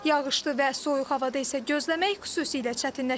Yağışlı və soyuq havada isə gözləmək xüsusilə çətinləşir.